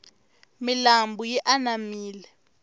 milambu yi anamile